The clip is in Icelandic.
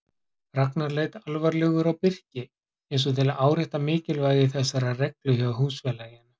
Ragnar leit alvarlegur á Birki eins og til að árétta mikilvægi þessarar reglu hjá húsfélaginu.